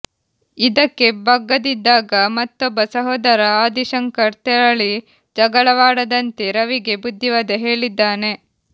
ಇದಕ್ಕೆ ಬಗ್ಗದಿದ್ದಾಗ ಮತ್ತೊಬ್ಬ ಸಹೋದರ ಆದಿಶಂಕರ್ ತೆರಳಿ ಜಗಳವಾಡದಂತೆ ರವಿಗೆ ಬುದ್ಧಿವಾದ ಹೇಳಿದ್ದಾನೆ